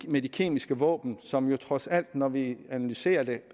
med de kemiske våben som jo trods alt når vi analyserer det